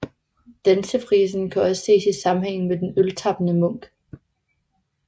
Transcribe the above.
Dansefrisen kan også ses i sammenhæng med den øltappende munk